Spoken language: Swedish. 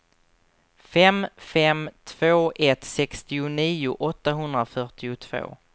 fem fem två ett sextionio åttahundrafyrtiotvå